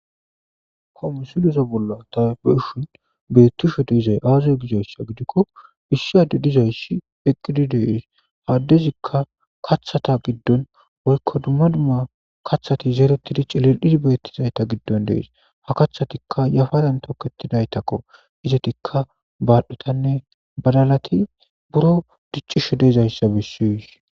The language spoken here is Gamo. komusileso bolla tabeushun beettisho deizay aazu gidoyssa gidikko bissi adu dizayssi eqqididees aaddezikka kaththata giddon woykko dumma dumma kaththati zeeretidicilil7id beettizayta giddon dees ha kathatikka yafadan toketidaytakko izetikka baaldhutanne balalati buro dicchisho deezayssa bissis